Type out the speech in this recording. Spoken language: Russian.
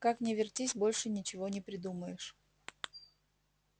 как ни вертись больше ничего не придумаешь